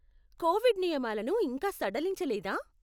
Covid నియమాలను ఇంకా సడలించలేదా?